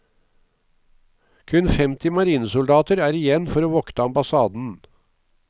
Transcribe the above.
Kun femti marinesoldater er igjen for å vokte ambassaden.